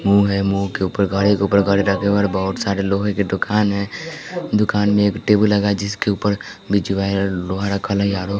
मुंह है मुंह के ऊपर गाड़ी के ऊपर गाड़ी रखे हुए बहुत सारे लोहे की दुकान है दुकान में एक टेबुल लगा है जिसके उपर ।